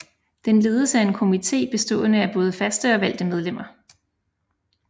Den ledes af en komité bestående af både faste og valgte medlemmer